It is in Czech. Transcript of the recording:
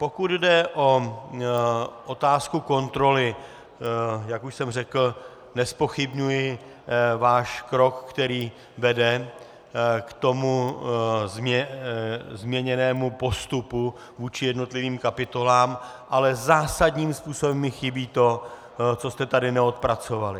Pokud jde o otázku kontroly, jak už jsem řekl, nezpochybňuji váš krok, který vede k tomu změněnému postupu vůči jednotlivým kapitolám, ale zásadním způsobem mi chybí to, co jste tady neodpracovali.